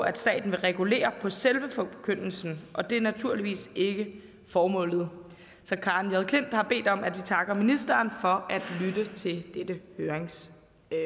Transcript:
at staten ville regulere på selve forkyndelsen og det er naturligvis ikke formålet så karen j klint har bedt om at vi takker ministeren for at lytte til dette høringssvar